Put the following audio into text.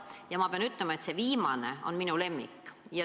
Ja ma pean ütlema, et see viimane on minu lemmik.